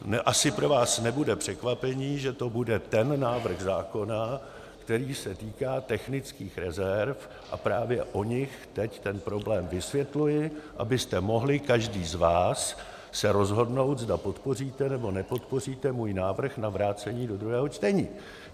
Asi pro vás nebude překvapení, že to bude ten návrh zákona, který se týká technických rezerv, a právě o nich teď ten problém vysvětluji, abyste mohli každý z vás se rozhodnout, zda podpoříte, nebo nepodpoříte můj návrh na vrácení do druhého čtení.